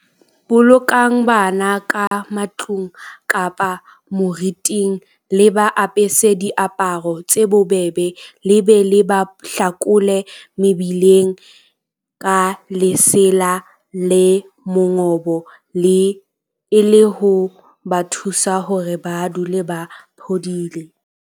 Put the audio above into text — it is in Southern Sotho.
Bolokang bana ka matlung kapa moriting, le ba apese diaparo tse bobebe le be le ba hlakole mebeleng ka lesela le mongobo e le ho ba thusa hore ba dule ba phodile.